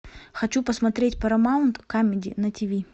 хочу посмотреть парамаунт камеди на тиви